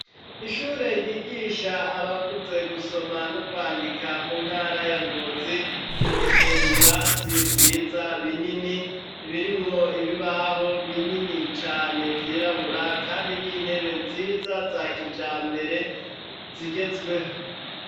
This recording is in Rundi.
ishure ryigisha abakuze gusoma no kwandika mu ntara ya ngozi, rifise ibirasi vyiza binini birimwo ibibaho binini cane vyirabura kandi n'intebe nziza za kijambere zigezweho.